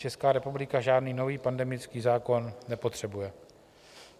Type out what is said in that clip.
Česká republika žádný nový pandemický zákon nepotřebuje.